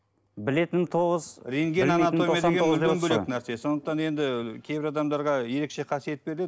білетінім тоғыз бөлек нәрсе сондықтан енді кейбір адамдарға ерекше қасиет беріледі